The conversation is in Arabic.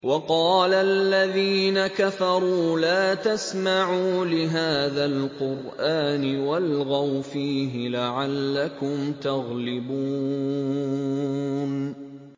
وَقَالَ الَّذِينَ كَفَرُوا لَا تَسْمَعُوا لِهَٰذَا الْقُرْآنِ وَالْغَوْا فِيهِ لَعَلَّكُمْ تَغْلِبُونَ